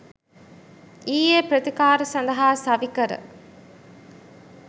ඊයේ ප්‍රතිකාර සඳහා සවිකර